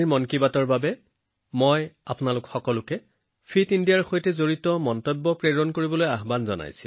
এই মন কী বাতৰ বাবে মই আপোনালোক সকলোকে অনুৰোধ কৰিলোঁ যে ফিট ইণ্ডিয়াৰ সৈতে জড়িত ইনপুট প্ৰেৰণ কৰক